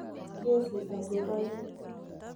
Kesii agobo inee.